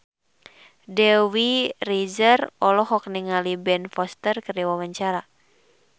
Dewi Rezer olohok ningali Ben Foster keur diwawancara